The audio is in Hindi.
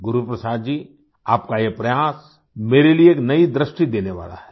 गुरु प्रसाद जी आपका ये प्रयास मेरे लिए नई दृष्टि देने वाला है